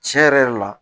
Tiɲɛ yɛrɛ yɛrɛ la